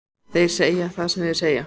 Þeir segja það sem þeir segja,